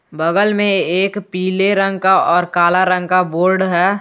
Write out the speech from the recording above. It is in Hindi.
बगल में एक पीले रंग का और काला रंग का बोर्ड है।